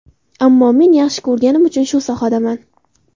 Ammo men yaxshi ko‘rganim uchun shu sohadaman.